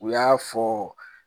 U y'a fɔ